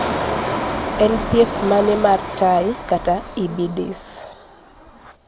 en thieth mane mar Tay kata IBIDIS?